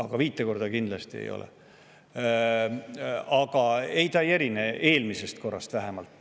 Ja see ei erine vähemalt eelmise korra omast.